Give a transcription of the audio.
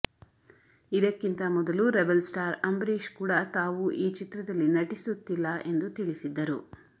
ಇದಕ್ಲಿಂತ ಮೊದಲು rebel star Ambareesh ಕೂಡ ತಾವು ಈ ಚಿತ್ರದಲ್ಲಿ ನಟಿಸುತ್ತಿಲ್ಲ ಎಂದು ತಿಳಿಸಿದ್ದರು